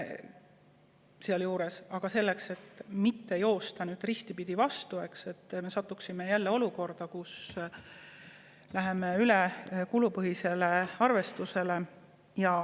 Aga nüüd me ei tohiks joosta jälle risti vastupidises, nii et me satuksime jälle olukorda, kus läheme üle kulupõhisele arvestusele.